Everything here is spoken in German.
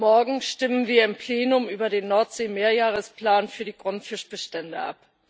Morgen stimmen wir im Plenum über den Nordsee Mehrjahresplan für die Grundfischbestände ab.